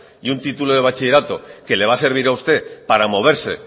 y un título de bachillerato que le va a servir a usted para moverse